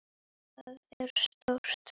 Það er stórt.